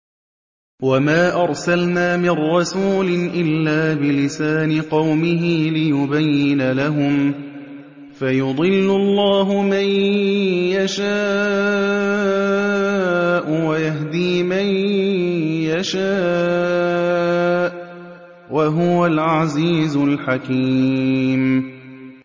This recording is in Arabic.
وَمَا أَرْسَلْنَا مِن رَّسُولٍ إِلَّا بِلِسَانِ قَوْمِهِ لِيُبَيِّنَ لَهُمْ ۖ فَيُضِلُّ اللَّهُ مَن يَشَاءُ وَيَهْدِي مَن يَشَاءُ ۚ وَهُوَ الْعَزِيزُ الْحَكِيمُ